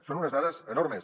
són unes dades enormes